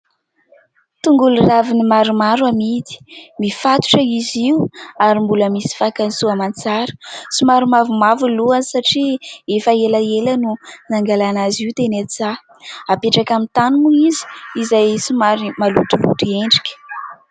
Tongolo raviny maromaro amidy. Mifatotra izy io ary mbola misy fakany soa aman-tsara. Somary mavomavo ny lohany satria efa elaela no nangalana azy io teny an-tsaha, apetraka amin'ny tany moa izy izay somary malotoloto endrika.